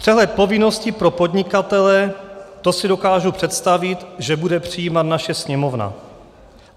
Přehled povinností pro podnikatele - to si dokážu představit, že bude přijímat naše Sněmovna.